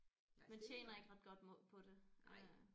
Nej det nej